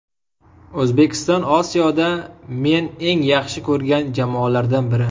O‘zbekiston Osiyoda men eng yaxshi ko‘rgan jamoalardan biri.